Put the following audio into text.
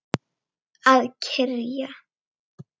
Að kyrja.